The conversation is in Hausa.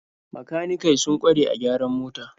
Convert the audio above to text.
Makanikai sun kware a gyaran mota.